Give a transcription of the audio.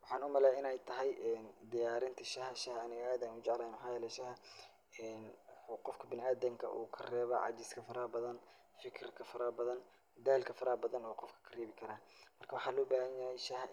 Maxaan u maleeyaa inay tahay diyaarinta shaaha. Shaaha anig aad ayaan u jeclahay maxaa yeelay shaaha waxuu qofka bina'aadinka ka reebaa cajiska farahbadan, fikirka farahbadan, daalka faraxbadan uu qofka ka reebi karaa. Marka, waxaa loo bahanyahay shaaha